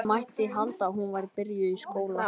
Það mætti halda að hún væri byrjuð í skóla.